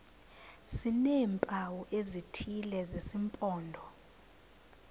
sineempawu ezithile zesimpondo